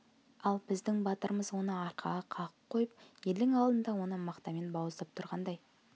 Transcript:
ал біздің батырымыз оны арқаға қағып қойып елдің алдында оны мақтамен бауыздап тұрғандай